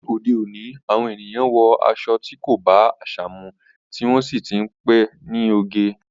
Ni òde òní, àwọn ènìyàn wọ aṣọ tí kò bá àṣà mu, tí wọ́n sì ti ń pe ní oge.